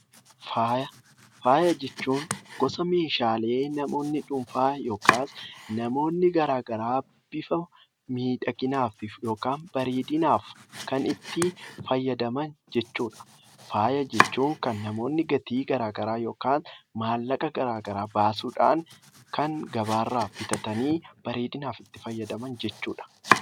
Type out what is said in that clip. Faaya jechuun gosa meeshaalee namoonni dhuunfaa yookiin namoonni garaagaraa bifa miidhaginaa fi bareedinaaf itti fayyadaman jechuudha. Faaya jechuun kan namoonni gatii garaagaraa yookaan maallaqa garaagaraa baasuudhaan kan gabaarraa bitatanii bareedinaaf itti fayyadaman jechuudha.